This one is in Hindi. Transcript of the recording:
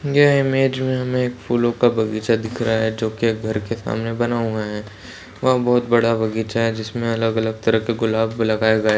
यह इमेज में हमें एक फूलों का बगीचा दिख रहा है जोकि एक घर के सामने बना हुआ है वहां बहुत बड़ा बगीचा है जिसमें अलग-अलग तरह के गुलाब लगाए गए--